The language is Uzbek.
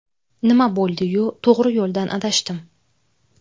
Nima bo‘ldi-yu, to‘g‘ri yo‘ldan adashdim!